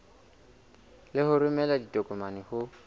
le ho romela ditokomane ho